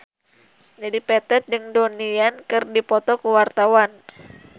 Dedi Petet jeung Donnie Yan keur dipoto ku wartawan